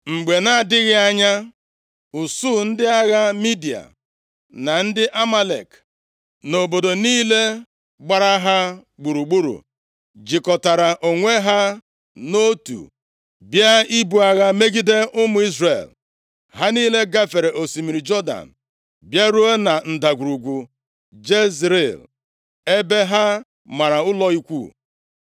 Mgbe na-adịghị anya, usuu ndị agha Midia, na ndị Amalek, na obodo niile gbara ha gburugburu jikọtara onwe ha nʼotu, bịa ibu agha megide ụmụ Izrel. Ha niile gafere osimiri Jọdan, bịaruo na Ndagwurugwu Jezril ebe ha mara ụlọ ikwu.